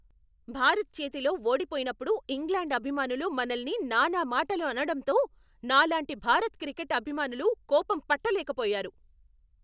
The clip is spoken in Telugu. భారత్ చేతిలో ఓడిపోయినప్పుడు ఇంగ్లాండ్ అభిమానులు మనల్ని నానా మాటలు అనడటంతో నాలాంటి భారత క్రికెట్ అభిమానులు కోపం పట్టలేకపోయారు.